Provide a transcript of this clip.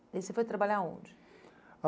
E você foi trabalhar onde?